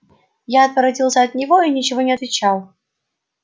я отворотился от него и ничего не отвечал